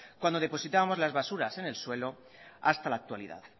cuando depositábamos las basuras en el suelo hasta la actualidad